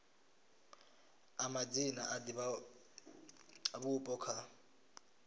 a madzina a divhavhupo kha